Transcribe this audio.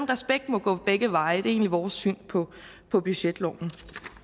respekt må gå begge veje det er egentlig vores syn på budgetloven